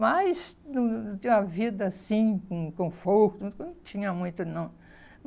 Mas hum a vida, assim, com conforto, não não tinha muito, não.